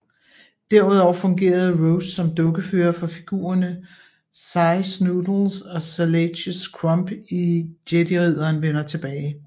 Derudover fungerede Rose som dukkefører for figurerne Sy Snootles og Salacious Crumb i Jediridderen vender tilbage